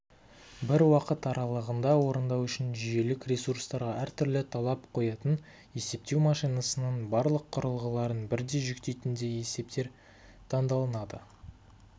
бір уақыт аралығында орындау үшін жүйелік ресурстарға әртүрлі талап қоятын есептеу машинасының барлық құрылғыларын бірдей жүктейтіндей есептер таңдалынады